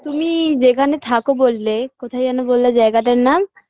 তুমি যেখানে থাকো বললে কোথায় যেন বললে জায়গাটার নাম